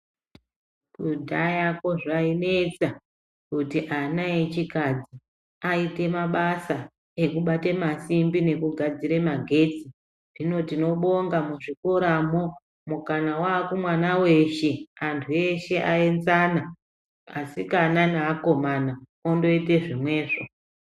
Kudhayako zvainesa kuti ana echikadzi aite mabasa ekubate masimbi nekugadzire magetsi. Hino tinobonga muzvikoramo mukana waa kumwana weshe. Antu eshe aenzana, asikana neakomana, ondoite zvimwezvo.